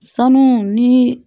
Sanu ni